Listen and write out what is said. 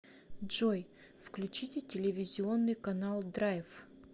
джой включите телевизионный канал драйв